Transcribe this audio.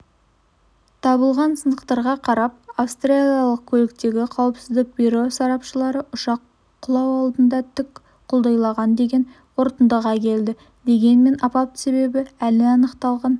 табылған сынықтарға қарап австралиялық көліктегі қауіпсіздік бюро сарапшылары ұшақ құлау алдында тік құлдыйлаған деген қорытындыға келді дегенмен апат себебі әлі анықталған